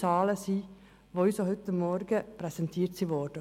Ich sprach damals persönlich mit dem Generalsekretär, Herrn Michel.